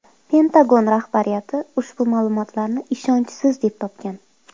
Pentagon rahbariyati ushbu ma’lumotlarni ishonchsiz deb topgan.